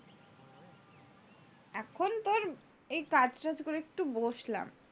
এখন তোর এই কাজ টাজ করে একটু বসলাম।